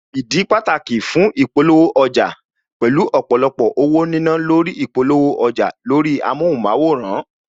Ìdí pàtàkì fún ìpolówó ọjà, pẹ̀lú ọ̀pọ̀lọpọ̀ owó nínà lórí ìpolówó ọjà lórí amóhunmáwòrán